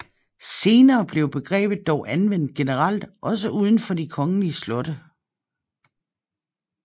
Senere blev begrebet dog anvendt generelt også uden for de kongelige slotte